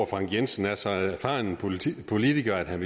frank jensen er så erfaren en politiker at han